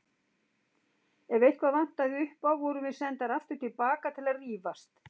Ef eitthvað vantaði upp á vorum við sendar aftur til baka til að rífast.